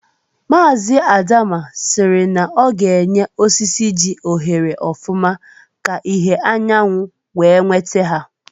Mazị Adama siri na ọ ga-enye osisi ji ohere ọfụma ka ìhè anyanwụ wee nweta ha